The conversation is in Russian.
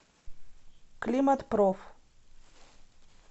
климатпроф